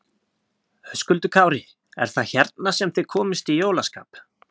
Höskuldur Kári: Er það hérna sem þið komist í jólaskap?